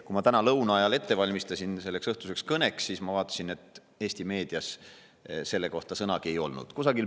Kui ma täna lõuna ajal valmistusin selleks õhtuseks kõneks, siis ma vaatasin, et Eesti meedias selle kohta sõnagi ei olnud.